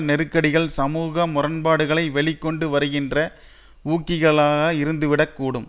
நெருக்கடிகள் சமூக முரண்பாடுகளை வெளி கொண்டு வருகின்ற ஊக்கிகளாக இருந்துவிடக்கூடும்